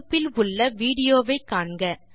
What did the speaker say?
தொடுப்பில் உள்ள விடியோ வை காண்க